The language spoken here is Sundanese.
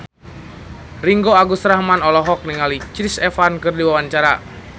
Ringgo Agus Rahman olohok ningali Chris Evans keur diwawancara